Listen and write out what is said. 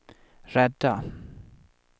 rädda